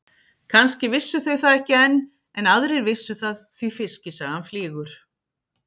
Kannski vissu þau það ekki enn en aðrir vissu það því fiskisagan flýgur.